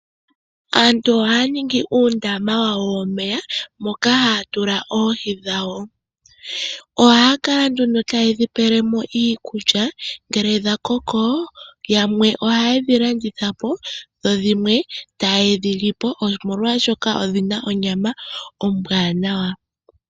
Aantu ohaya ningi uundama wawo womeya moka haya tula oohi dhawo, ohaya kala nduno taye dhi pele mo iikulya, ngele dha koko yamwe ohaye dhi landitha po dho dhimwe taye dhi li po, omolwaashoka odhina onyama ombwanawa .